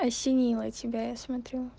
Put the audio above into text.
осенило тебя я смотрю